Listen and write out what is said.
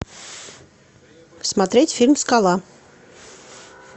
смотреть фильм скала